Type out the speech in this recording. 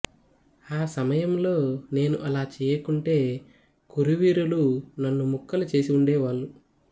ఆ సమయంలో నేను అలా చేయకుంటే కురు వీరులు నన్ను ముక్కలు చేసి ఉండే వాళ్ళు